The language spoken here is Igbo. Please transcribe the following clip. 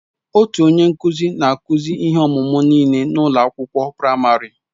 Otu onye nkụzi na-akụzi ihe ọmụmụ nịle n'ụlọ akwụkwọ praịmarị.